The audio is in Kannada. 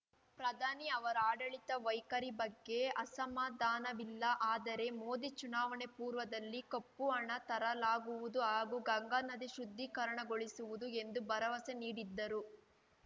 ಪ್ರಧಾನಿ ಅವರ ಆಡಳಿತ ವೈಖರಿ ಬಗ್ಗೆ ಅಸಮಾಧಾನವಿಲ್ಲ ಆದರೆ ಮೋದಿ ಚುನಾವಣೆ ಪೂರ್ವದಲ್ಲಿ ಕಪ್ಪು ಹಣ ತರಲಾಗುವುದು ಹಾಗೂ ಗಂಗಾ ನದಿ ಶುದ್ಧೀಕರಣಗೊಳಿಸುವುದು ಎಂದು ಭರವಸೆ ನೀಡಿದ್ದರು